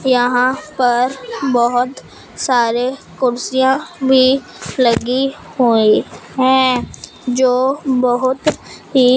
यहां पर बहोत सारे कुर्सियां भी लगी हुईं हैं जो बहोत ही--